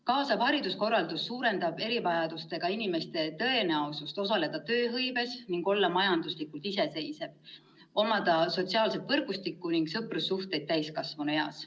Kaasav hariduskorraldus suurendab erivajadustega inimeste tõenäosust osaleda tööhõives ning olla majanduslikult iseseisev, omada sotsiaalset võrgustikku ning sõprussuhteid täiskasvanueas.